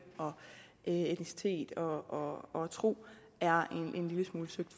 etnicitet og og tro er en lille smule søgt